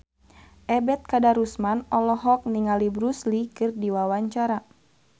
Ebet Kadarusman olohok ningali Bruce Lee keur diwawancara